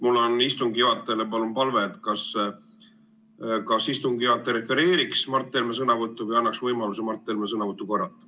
Mul on istungi juhatajale palve, et ta kas refereeriks Mart Helme sõnavõttu või annaks Mart Helmele võimaluse seda korrata.